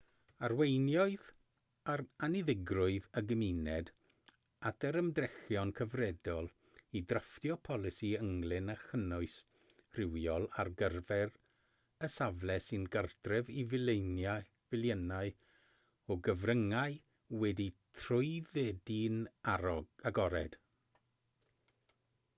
arweiniodd anniddigrwydd y gymuned at yr ymdrechion cyfredol i ddrafftio polisi ynglŷn â chynnwys rhywiol ar gyfer y safle sy'n gartref i filiynau o gyfryngau wedi'u trwyddedu'n agored